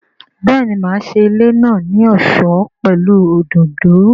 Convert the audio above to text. Béèni, máa ṣe ilé náà ní ọ̀ṣọ́ pẹ̀lú òdòdó